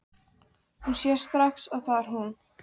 Hún sér strax að það er hún.